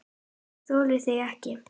ÉG ÞOLI ÞIG EKKI!